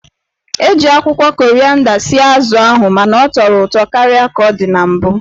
E ji akwụkwọ korịanda sie azụ ahụ mana ọ tọrọ ụtọ karịa ka ọ dị na mbụ.